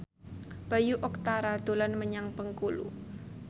Bayu Octara dolan menyang Bengkulu